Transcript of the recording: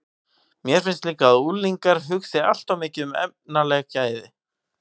Mér finnst líka að unglingar hugsi allt of mikið um efnaleg gæði.